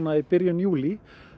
í byrjun júlí